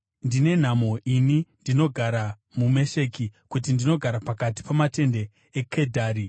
Ndine nhamo ini ndinogara muMesheki, kuti ndinogara pakati pamatende eKedhari!